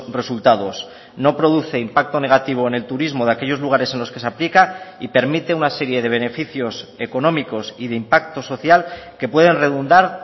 resultados no produce impacto negativo en el turismo de aquellos lugares en los que se aplica y permite una serie de beneficios económicos y de impacto social que pueden redundar